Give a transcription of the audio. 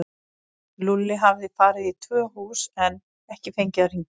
Lúlli hafði farið í tvö hús en ekki fengið að hringja.